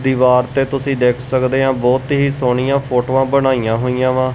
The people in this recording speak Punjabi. ਦੀਵਾਰ ਤੇ ਤੁਸੀਂ ਦੇਖ ਸਕਦੇ ਆਂ ਬਹੁਤ ਹੀ ਸੋਹਣੀਆ ਫੋਟੋਆਂ ਬਣਾਈਆਂ ਹੋਈਆਂ ਵਾ।